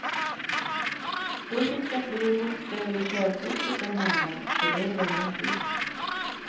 Då fick jag fler bokstäver i körkortet än honom, så då blev han tyst.